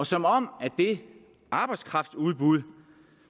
som om det arbejdskraftudbud